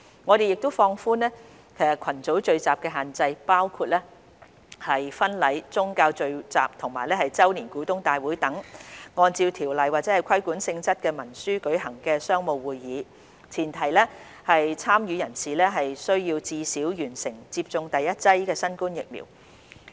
我們亦放寬群組聚集的限制，包括婚禮、宗教聚集及周年股東大會等按照條例或規管性質文書舉行的商務會議，前提是參與人士須至少完成接種第一劑新冠疫苗。